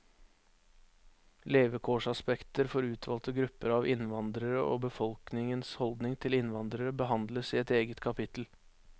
Levekårsaspekter for utvalgte grupper av innvandrere og befolkingens holdning til innvandrere behandles i et eget kapittel.